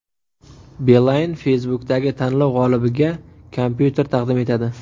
Beeline Facebook’dagi tanlov g‘olibiga kompyuter taqdim etadi.